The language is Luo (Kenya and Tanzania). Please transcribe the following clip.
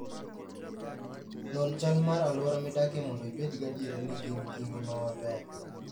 Non chal mar alwora midakie mondo ibed gadier ni gin gi ngima maber.